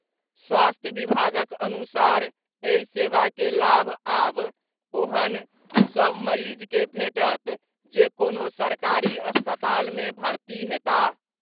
स्वास्थ्य विभागक अनुसार एहि सेवा के लाभ आब ओहेन सभ मरीज के भेटत जे कोनो सरकारी अस्पताल में भर्ती हेताह।